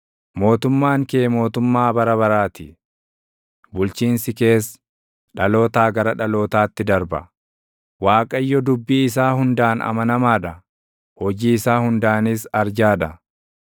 Mootummaan kee mootummaa bara baraa ti; bulchiinsi kees dhalootaa gara dhalootaatti darba. Waaqayyo dubbii isaa hundaan amanamaa dha; hojii isaa hundaanis arjaa dha.